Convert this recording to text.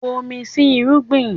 Bomi sí irúgbìn!